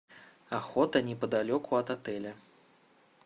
охота неподалеку от отеля